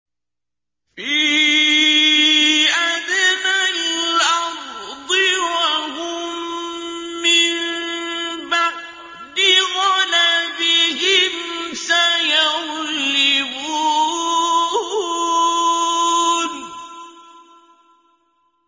فِي أَدْنَى الْأَرْضِ وَهُم مِّن بَعْدِ غَلَبِهِمْ سَيَغْلِبُونَ